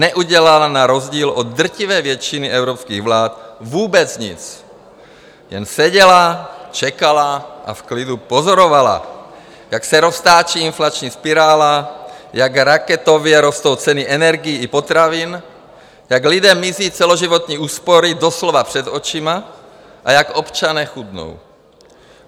Neudělala na rozdíl od drtivé většiny evropských vlád vůbec nic, jen seděla, čekala a v klidu pozorovala, jak se roztáčí inflační spirála, jak raketově rostou ceny energií i potravin, jak lidem mizí celoživotní úspory doslova před očima a jak občané chudnou.